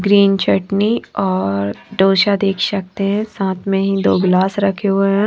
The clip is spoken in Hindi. ग्रीन चटनी और डोसा देख सकते हैं साथ में ही दो गिलास रखे हुए हैं।